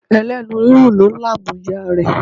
Ẹlẹ́nu rírùn ló làmú ìyá rẹ̀.